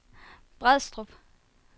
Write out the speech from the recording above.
Brædstrup